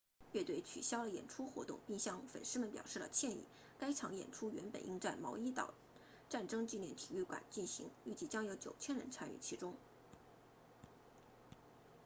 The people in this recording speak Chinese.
乐队取消了演出活动并向粉丝们表示了歉意该场演出原本应在毛伊岛战争纪念体育场举行预计将有9000人参与其中